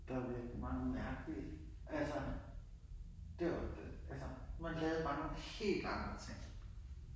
Der var virkelig mange mærkelige altså det var jo man lavede bare nogle helt andre ting